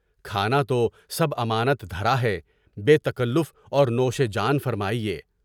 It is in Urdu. کھانا تو سب امانت دھرا ہے، بے تکلف اور نوش جان فرمائیے۔